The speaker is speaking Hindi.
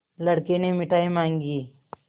लड़के ने मिठाई मॉँगी